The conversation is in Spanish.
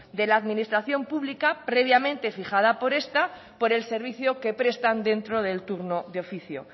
de la administración pública previamente fijada por esta por el servicio que prestan dentro del turno de oficio